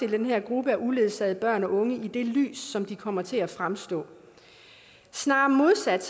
den her gruppe af uledsagede børn og unge i det lys som de kommer til at fremstå i snarere modsat